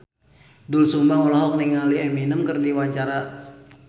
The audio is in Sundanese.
Doel Sumbang olohok ningali Eminem keur diwawancara